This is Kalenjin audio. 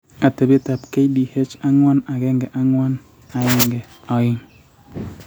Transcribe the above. atebeetap KDH414-12 :